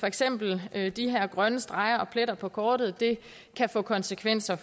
eksempel de her grønne streger og pletter på kortet kan få konsekvenser